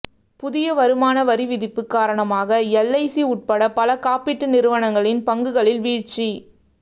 புதிய வருமான வரி விதிப்பு காரணமாக எல்ஐசி உட்பட பல காப்பீட்டு நிறுவனங்களின் பங்குகளில் வீழ்ச்சி